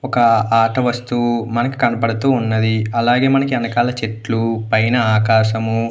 ఒక ఆట వస్తువు మనకి కనపడుతూ ఉన్నది అలాగే మనకి ఎనకాల చెట్లు పైన ఆకాశము.